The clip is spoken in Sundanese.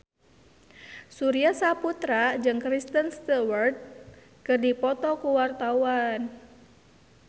Surya Saputra jeung Kristen Stewart keur dipoto ku wartawan